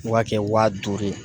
O b'a kɛ wa duuru ye.